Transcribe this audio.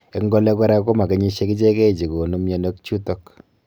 Eng ole kora komakenyisiek ichekei chegonu myonwek chutok